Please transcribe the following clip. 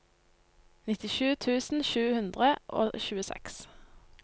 nittisju tusen sju hundre og tjueseks